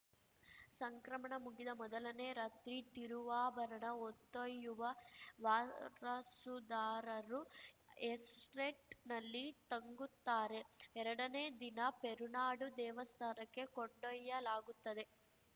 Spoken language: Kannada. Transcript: ಸಂಕ್ರಮಣ ಮುಗಿದ ಮೊದಲನೇ ರಾತ್ರಿ ತಿರುವಾಭರಣ ಹೊತ್ತೊಯ್ಯುವ ವಾರಸುದಾರರು ಎಸ್ಟೇಟ್‌ನಲ್ಲಿ ತಂಗುತ್ತಾರೆ ಎರಡನೇ ದಿನ ಪೆರುನಾಡು ದೇವಸ್ಥಾನಕ್ಕೆ ಕೊಂಡೊಯ್ಯಲಾಗುತ್ತದೆ